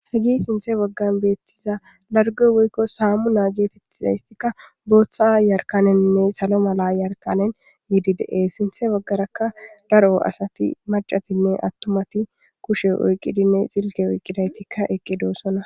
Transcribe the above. hagi sinthe baggan beettiza largo woykko saamunaa geetettizaystikka booththa jarkaneninne salo mala jarkanen yiidi dees sinthe baggarakka daro asati macatinne attumati kushe oyqqidinne Silke oyqqidaytikka eqqidoosona